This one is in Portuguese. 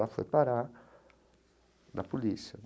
Ela foi parar na polícia.